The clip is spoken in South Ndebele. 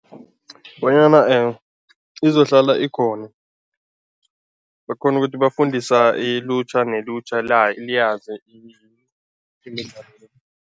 Bonyana izohlala ikhona bakghona ukuthi bafundisa ilutjha nelutjha liyazi imidlalo le.